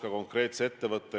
Ja nii see on.